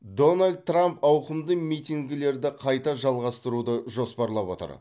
дональд трамп ауқымды митингілерді қайта жалғастыруды жоспарлап отыр